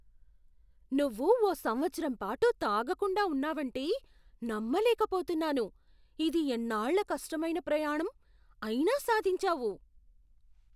నువ్వు ఓ సంవత్సరం పాటు తాగకుండా ఉన్నావంటే నమ్మలేకపోతున్నాను! ఇది ఎన్నాళ్ళ కష్టమైన ప్రయాణం, అయినా సాధించావు!